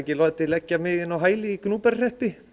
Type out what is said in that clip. láti leggja mig inn á hæli í Gnúpverjahreppi